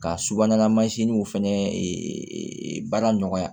Ka subahanala mansinw fana baara nɔgɔya